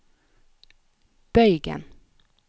bøygen